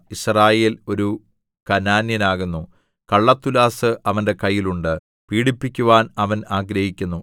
യിസ്രായേൽ ഒരു കനാന്യനാകുന്നു കള്ളത്തുലാസ് അവന്റെ കയ്യിൽ ഉണ്ട് പീഡിപ്പിക്കുവാൻ അവൻ ആഗ്രഹിക്കുന്നു